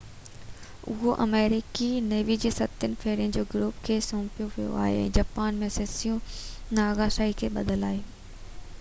اهو آمريڪي نيوي جي ستين ٻيڙين جي گروپ کي سونپيو ويو آهي ۽ جاپان ۾ سيسيبو ناگاساڪي تي ٻڌل آهي